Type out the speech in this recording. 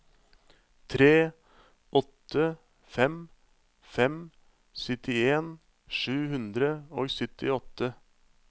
tre åtte fem fem syttien sju hundre og syttiåtte